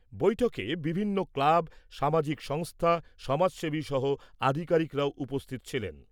বৈঠকে বিভিন্ন ক্লাব, সামাজিক সংস্থা, সমাজসেবী সহ আধিকারিকরা উপস্থিত ছিলেন।